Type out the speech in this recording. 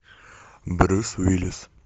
брюс уиллис